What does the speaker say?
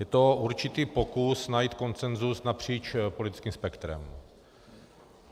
Je to určitý pokus najít konsenzus napříč politickým spektrem.